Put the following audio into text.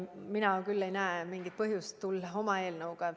Mina küll ei näe mingit põhjust tulla välja oma eelnõuga.